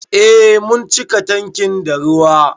Eh mun cika tankin da ruwa.